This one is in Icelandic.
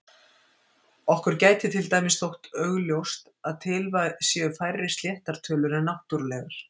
Okkur gæti til dæmis þótt augljóst að til séu færri sléttar tölur en náttúrlegar.